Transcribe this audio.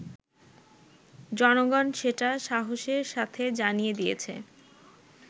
জনগণ সেটা সাহসের সাথে জানিয়ে দিয়েছে